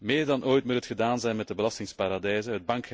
Meer dan ooit moet het gedaan zijn met de belastingparadijzen.